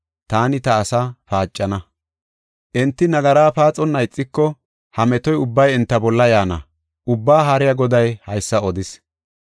Taani ta asaa paacana; enti nagara paaxonna ixiko, ha metoy ubbay enta bolla yaana; Ubbaa Haariya Goday haysa odis.